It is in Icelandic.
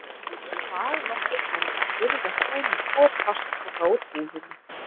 Dag nokkurn var ég að burðast heim með tvo plastpoka úr búðinni.